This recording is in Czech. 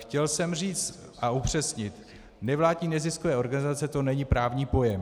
Chtěl jsem říct a upřesnit, nevládní neziskové organizace, to není právní pojem.